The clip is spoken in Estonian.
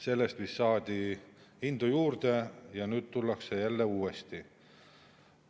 Sellest vist saadi indu juurde ja nüüd tullakse jälle uuesti.